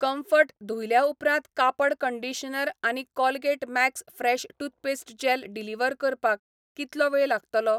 Comfort धुयल्या उपरांत कापड कंडीशनर आनी Colgate max fresh toothpaste gel deliver करपाक कितलो वेळ लागतलो ?